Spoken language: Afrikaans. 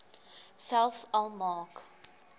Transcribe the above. selfs al maak